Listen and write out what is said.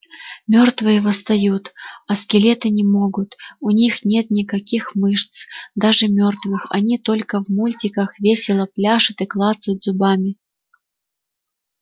мёртвые восстают а скелеты не могут у них нет никаких мышц даже мёртвых они только в мультиках весело пляшут и клацают зубами